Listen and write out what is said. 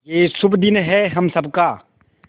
ये शुभ दिन है हम सब का